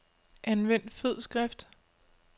Anvend fed skrift.